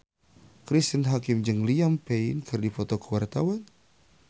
Cristine Hakim jeung Liam Payne keur dipoto ku wartawan